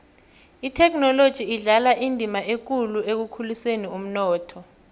ithekhinoloji idlala indima ekulu ekukhuliseni umnotho